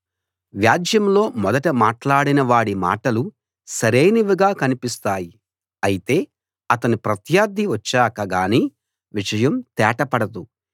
వ్యాజ్యంలో మొదట మాట్లాడిన వాడి మాటలు సరైనవిగా కనిపిస్తాయి అయితే అతని ప్రత్యర్థి వచ్చాక గానీ విషయం తేట పడదు